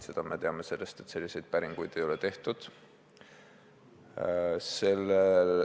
Seda me teame sellest, et selliseid päringuid ei ole tehtud.